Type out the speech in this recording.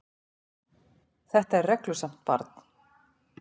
Þetta er reglusamt barn.